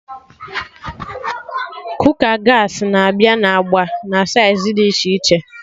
Kooka gaasị na-abịa na agba na saiz dị iche iche